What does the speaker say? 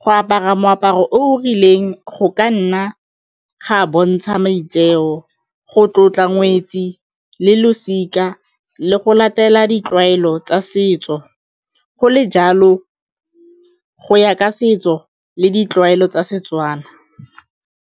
Go apara moaparo o rileng go ka nna ga a bontsha maitseo, go tlotla ngwetsi le losika le go latela ditlwaelo tsa setso, go le jalo go ya ka setso le ditlwaelo tsa Setswana.